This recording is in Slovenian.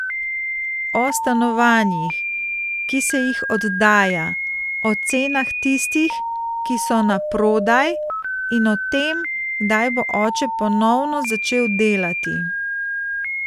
O stanovanjih, ki se jih oddaja, o cenah tistih, ki so naprodaj, in o tem, kdaj bo oče ponovno začel delati.